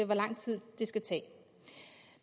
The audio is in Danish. hvor lang tid det skal tage